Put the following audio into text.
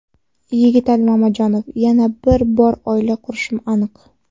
Yigitali Mamajonov: Yana bir bor oila qurishim aniq.